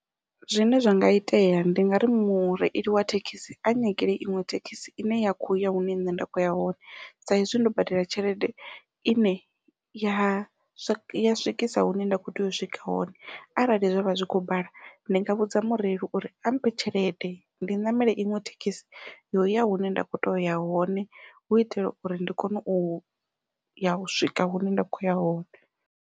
Zwine zwa nga itea ndi nga ri mureili wa thekhisi a nyagele iṅwe thekhisi ine ya kho ya hune nṋe nda kho ya hone sa izwi ndo badela tshelede ine ya swikisa hune nda kho tea u swika hone, arali zwavha zwi kho bala ndi nga vhudza mureili uri a mphe tshelede ndi ṋamele iṅwe thekhisi ya uya hune nda kho toya uya hone hu itela uri ndi kone uya u swika hune nda khoya hone.